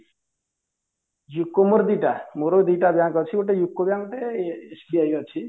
ଦି ଟା ମୋର ଦି ଟା bank ଅଛି ଗୋଟେ UCO bank ଗୋଟେ SBI ଅଛି